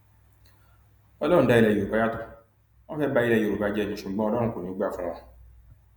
ọlọrun dá yorùbá yàtọ wọn fẹẹ ba ilé yorùbá jẹ ni ṣùgbọn ọlọrun kò ní í gbà fún wọn